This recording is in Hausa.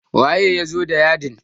waye ya zo da yadin?